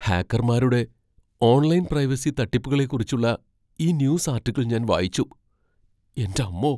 ഹാക്കർമാരുടെ online privacy തട്ടിപ്പുകളെക്കുറിച്ചുള്ള ഈ news article ഞാൻ വായിച്ചു. എന്റമ്മോ!